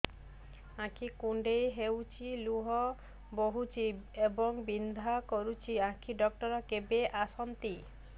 ଆଖି କୁଣ୍ଡେଇ ହେଉଛି ଲୁହ ବହୁଛି ଏବଂ ବିନ୍ଧା କରୁଛି ଆଖି ଡକ୍ଟର କେବେ ଆସନ୍ତି